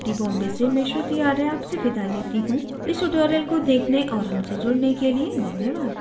I I T Bombay से मैं श्रुति आर्य आपसे विदा लेती हूँ इस tutorial को देखने और हमसे जुड़ने के लिए धन्यवाद